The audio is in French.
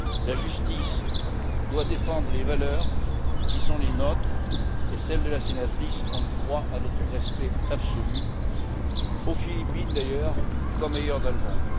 La justice doit défendre les valeurs qui sont les nôtres et celles de la sénatrice ont droit à notre respect absolu, aux Philippines comme ailleurs dans le monde.